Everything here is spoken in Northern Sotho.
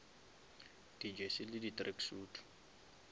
di jersey le di tracksuit